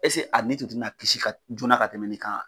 Ese a ni tun tɛna kisi ka joona ka tɛmɛ nin kan.